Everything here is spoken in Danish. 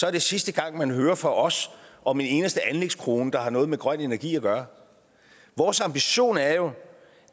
er det sidste gang man hører fra os om en eneste anlægskrone der har noget med grøn energi at gøre vores ambition er jo